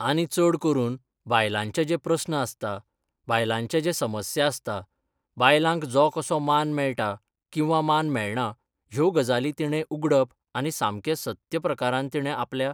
आणी चड करून बायलांचे जे प्रस्न आसता बायलांचे जे समस्या आसता बायलांक जो कसो मान मेळटा किंवा मान मेळना ह्यो गजाली तिणें उगडप आनी सामकें सत्य प्रकारान तिणें आपल्या